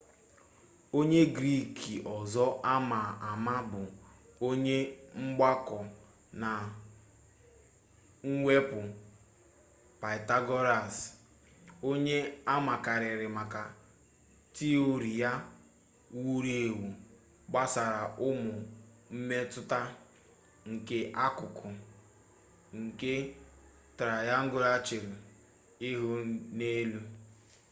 onye griik ọzọ ama ama bụ onye mgbakọ na mwepụ pythagoras onye amakarịrị maka tiori ya wuru ewu gbasara ụmụ mmetụta nke akụkụ nke trayangụlụ chewere ihu n'elu